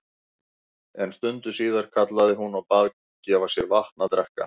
En stundu síðar kallaði hún og bað gefa sér vatn að drekka.